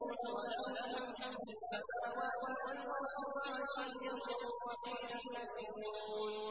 وَلَهُ الْحَمْدُ فِي السَّمَاوَاتِ وَالْأَرْضِ وَعَشِيًّا وَحِينَ تُظْهِرُونَ